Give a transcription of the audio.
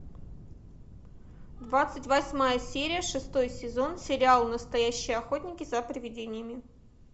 двадцать восьмая серия шестой сезон сериал настоящие охотники за привидениями